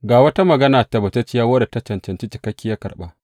Ga wata magana tabbatacciya wadda ta cancanci cikakkiyar karɓa.